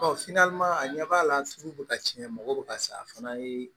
a ɲɛ b'a la sugu bɛ ka tiɲɛ mɔgɔ bɛ ka sa a fana ye